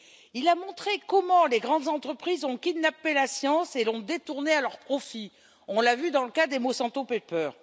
Il a montré comment les grandes entreprises ont kidnappé la science et l'ont détournée à leur profit on l'a vu dans le cas des Monsanto papers.